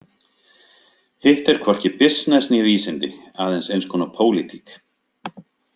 Hitt er hvorki bisness né vísindi, aðeins eins konar pólitík.